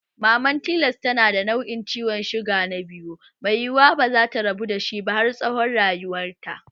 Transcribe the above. Maman silas tana da nau'in ciwon suga na 2 mai yiwuwa bazata rabu dashi ba har tsawon rayuwanta